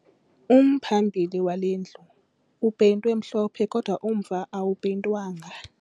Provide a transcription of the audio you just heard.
Umphambili wale ndlu upeyintwe mhlophe kodwa umva wayo awupeyintwanga